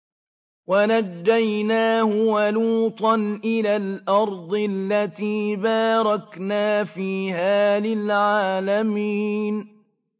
وَنَجَّيْنَاهُ وَلُوطًا إِلَى الْأَرْضِ الَّتِي بَارَكْنَا فِيهَا لِلْعَالَمِينَ